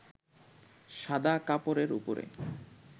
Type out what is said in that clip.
সাদা কাপড়ের উপরে